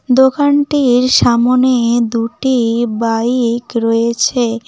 দোকানটির সামোনে দুটি বাইক রয়েছে।